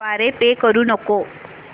द्वारे पे करू नको